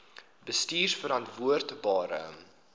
bestuurverantwoordbare